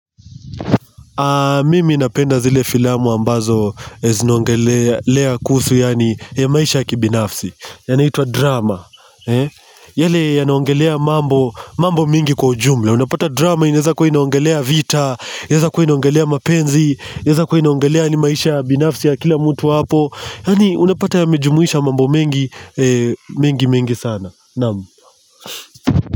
Mimi ninapenda zile filamu ambazo zinongelea kuhusu ya maisha ya kibinafsi, yanaitwa drama. Yale yanaongelea mambo mingi kwa ujumla. Unapata drama inaweza kuwa inaongelea vita, inaweza kwa inaongelea mapenzi, inaweza kuwa inaongelea yaani maisha ya binafsi ya kila mtu hapo. Yaani unapata yamejumuisha mambo mengi mengi mengi sana.